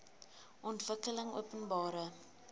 ontwikkelingopenbare